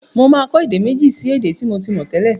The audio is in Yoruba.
Mo máa kọ́ èdè méji sí èdè tí mo ti mọ̀ tẹ́lẹ̀.